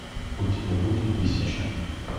у тебя будет тысяча